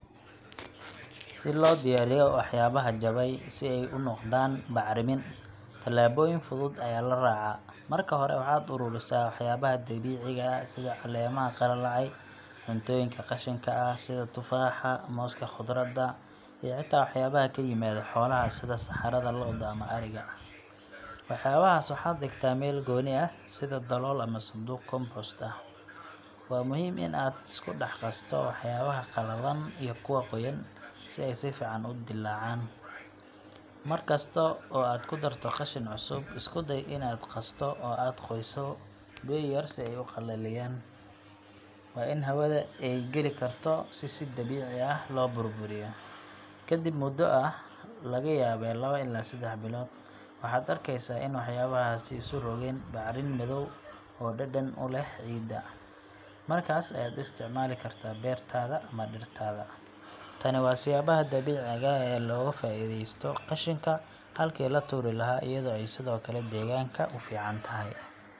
Si loo diyaariyo waxyaabaha jabay si ay u noqdaan bacrimin, tallaabooyin fudud ayaa la raacaa. Marka hore, waxaad ururisaa waxyaabaha dabiiciga ah sida caleemaha qalalay, cuntooyinka qashinka ah sida tufaaxa, mooska, khudradda, iyo xitaa waxyaabaha ka yimaada xoolaha sida saxarada lo’da ama ariga. Waxyaabahaas waxaad dhigtaa meel gooni ah, sida dalool ama sanduuq compost ah. Waa muhiim in aad isku dhex qasto waxyaabaha qalalan iyo kuwa qoyan, si ay si fiican u dillaacaan. Mar kasta oo aad ku darto qashin cusub, isku day in aad qasto oo aad qoyso biyo yar si ay u qalleeyaan. Waa in hawada ay geli karto si si dabiici ah loo burburiyo. Kadib muddo ah – laga yaabee lawo ilaa seddex bilood waxaad arkaysaa in waxyaabahaasi isu rogeen bacrin madow oo dhadhan u leh ciidda. Markaas ayaad u isticmaali kartaa beertaada ama dhirtaada. Tani waa siyaabaha dabiiciga ah ee wax looga faa’iideysto qashinka halkii la tuuri lahaa, iyadoo ay sidoo kale deegaanka u fiican tahay.